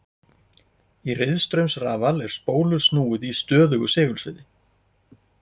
Í riðstraumsrafal er spólu snúið í stöðugu segulsviði.